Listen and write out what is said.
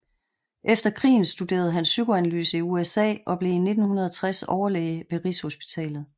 Efter krigen studerede han psykoanalyse i USA og blev i 1960 overlæge ved Rigshospitalet